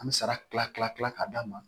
An bɛ sara kila kila kila ka d'a ma